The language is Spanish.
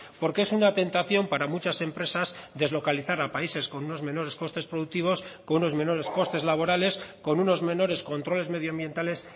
porque es una tentación para muchas empresas deslocalizar a países con unos menores costes productivos con unos menores costes laborales con unos menores controles medioambientales